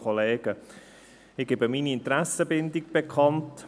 Ich gebe meine Interessenbindung bekannt: